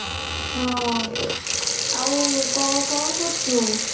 ହଁ ଆଊ କଣ କଣ କରୁଛୁ